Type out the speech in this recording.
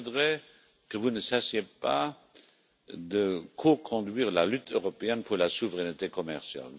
Je voudrais que vous continuiez de co conduire la lutte européenne pour la souveraineté commerciale.